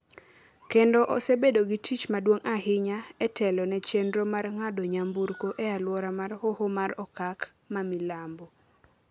kendo osebedo gi tich maduong’ ahinya e telo ne chenro mar ng’ado nyamburko e alwora mar Hoho mar Okak ma Milambo.